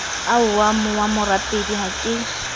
ahwa wa morapedi ha ke